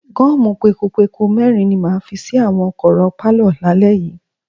Gọ́ọ̀mù pekupeku mẹ́rin ni màá fi sí àwọn kọ̀rọ̀ pálọ̀ lálẹ́ yìí.